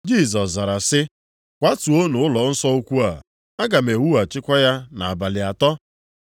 Jisọs zara sị, “Kwatuonụ ụlọnsọ ukwu a, aga m ewughachikwa ya nʼabalị atọ.”